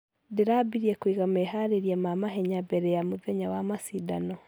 Ndĩrambirie kũiga mehareria ma mahenya mbere ya mũthenya wa mashidano.